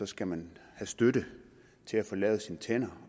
skal man have støtte til at få lavet sine tænder